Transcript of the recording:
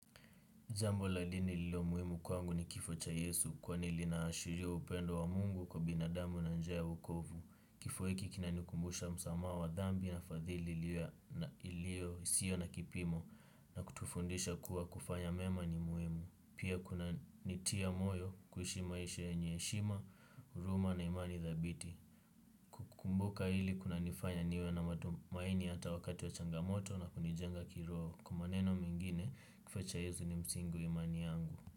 Jambo la dini lililo muhimu kwangu ni kifo cha yesu kwani linaashiria upendo wa mungu kwa binadamu na njia ya uwokovu. Kifo hiki kinanikumbusha msamaha wa dhambi na fadhili iliyo isiyo na kipimo na kutufundisha kuwa kufanya mema ni muhimu. Pia kunanitia moyo kuishi maisha yenye heshima, huruma na imani dhabiti. Kukumbuka hili kunanifanya niwe na matumaini hata wakati wa changamoto na kunijenga kiroho. Kwa maneno mengine kifo cha Yesu ni msingi wa imani yangu.